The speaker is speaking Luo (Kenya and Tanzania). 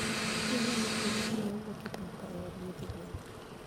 Be inyalo tiyo gi pi ma wuok e pipa e od nyithi gwen?